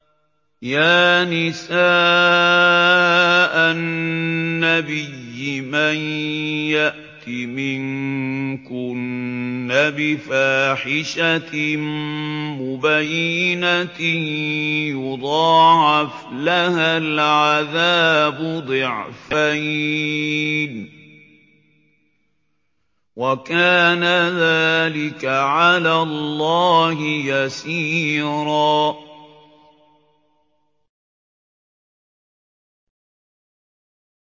يَا نِسَاءَ النَّبِيِّ مَن يَأْتِ مِنكُنَّ بِفَاحِشَةٍ مُّبَيِّنَةٍ يُضَاعَفْ لَهَا الْعَذَابُ ضِعْفَيْنِ ۚ وَكَانَ ذَٰلِكَ عَلَى اللَّهِ يَسِيرًا